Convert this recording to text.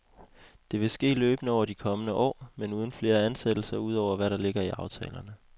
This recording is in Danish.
Det vil ske løbende over de kommende år, men uden flere ansættelser ud over, hvad der ligger i aftalerne.